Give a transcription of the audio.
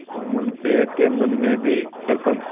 जुम्मन शेख के मन में भी सरपंच का